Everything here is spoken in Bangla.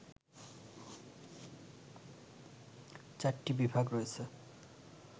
৪ টি বিভাগ রয়েছে